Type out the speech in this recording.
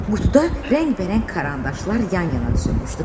Qutuda rəngbərəng karandaşlar yan-yana düzülmüşdü.